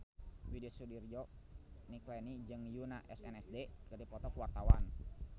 Widy Soediro Nichlany jeung Yoona SNSD keur dipoto ku wartawan